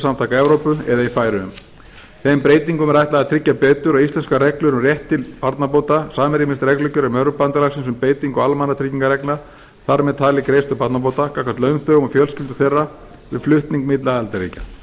fríverslunarsamtaka evrópu eða í færeyjum þeim breytingum er ætlað að tryggja betur að íslenskar reglur um rétt til barnabóta samrýmist reglugerðum evrópubandalagsins um beitingu almannatryggingareglna þar með talið greiðslu barnabóta gagnvart launþegum og fjölskyldum þeirra við flutning milli aðildarríkja um þennan